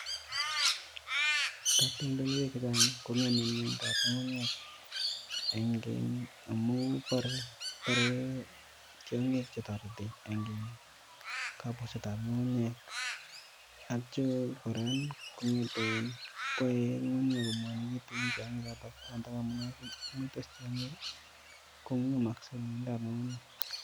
Katoldolwek chechang kongeme miendab ngunguyek eng kee amun barei barei tiongik che toreti eng kapusetab ngungunyek, atyo kora koyae ngungunyek ko ngwanikitu eng tiongik choto amune komweitos tiongik ko ngemaksei miendoab ngungunyek.